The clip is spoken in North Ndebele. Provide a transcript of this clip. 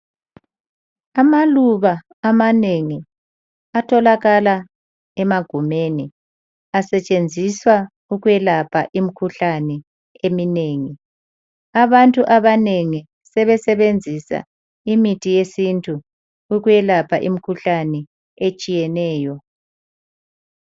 Amaluba amanengi atholakala emagumeni asetshenziswa ukwelapha imikhuhlane eminengi. Abantu abanengi sebesebenzisa imithi yesintu ukwelapha imikhuhlane etshiyeneyo.